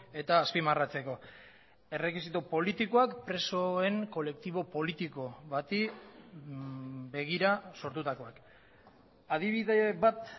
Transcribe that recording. eta azpimarratzeko errekisito politikoak presoen kolektibo politiko bati begira sortutakoak adibide bat